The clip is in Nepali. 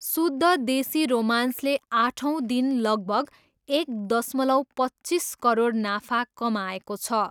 शुद्ध देशी रोमान्सले आठौँ दिन लगभग एक दशमलव पच्चिस करोड नाफा कमाएको छ।